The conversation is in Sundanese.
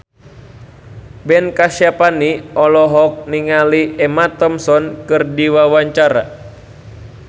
Ben Kasyafani olohok ningali Emma Thompson keur diwawancara